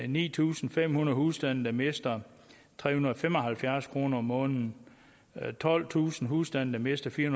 ni tusind fem hundrede husstande der mister tre hundrede og fem og halvfjerds kroner om måneden tolvtusind husstande der mister fire